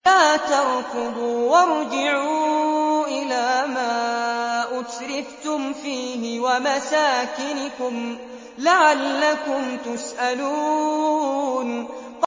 لَا تَرْكُضُوا وَارْجِعُوا إِلَىٰ مَا أُتْرِفْتُمْ فِيهِ وَمَسَاكِنِكُمْ لَعَلَّكُمْ تُسْأَلُونَ